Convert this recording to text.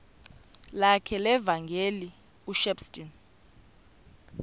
lakhe levangeli ushepstone